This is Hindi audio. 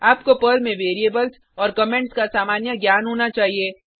आपको पर्ल में वेरिएबल्स और कमेंट्स का सामान्य ज्ञान होना चाहिए